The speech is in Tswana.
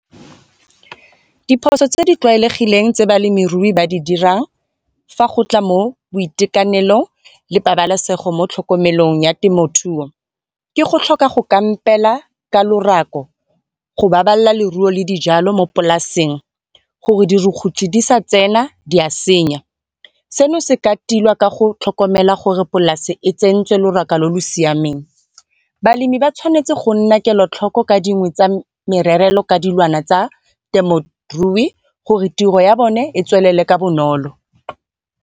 Diphoso tse di tlwaelegileng tse balemirui ba di dirang fa go tla mo boitekanelong le pabalesego mo tlhokomelong ya temothuo, ke go tlhoka go kampela ka lorako go babalela leruo le dijalo mo polasing gore dirukutlhi di sa tsena di a senya. Seno se ka tilwa ka go tlhokomela gore polasi e tsentswe lorako lo lo siameng. Balemi ba tshwanetse go nna kelotlhoko ka dingwe tsa mererelo ka dilwana tsa temorui gore tiro ya bone tswelele ka bonolo.